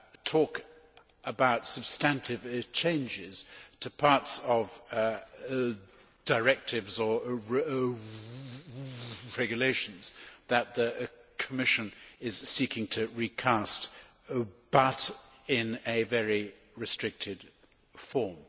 talk about substantive changes to parts of directives or regulations that the Commission is seeking to recast, but in a very restricted form.